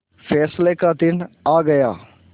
फैसले का दिन आ गया